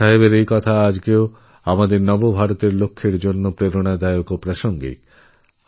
সর্দারসাহেবের বাণী আজও আমাদের নিউ ইন্দিয়া ভিশন এর অনুপ্রেরণা ও শক্তি